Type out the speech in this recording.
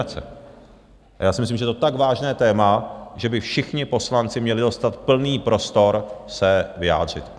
A já si myslím, že to je tak vážné téma, že by všichni poslanci měli dostat plný prostor se vyjádřit.